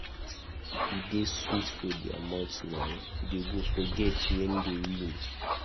E dey sweet for their mouth now, dey go forget wen dey win.